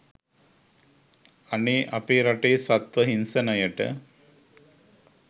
අනේ අපේ රටේ සත්ව හිංසනයට